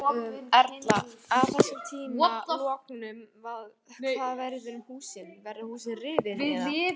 Erla: Að þessum tíma loknum hvað verður um húsin, verða húsin rifin eða?